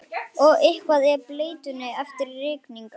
Og eitthvað af bleytunni eftir rigningu.